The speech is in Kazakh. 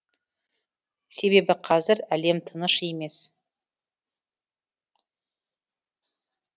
себебі қазір әлем тыныш емес